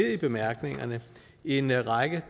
i bemærkningerne en række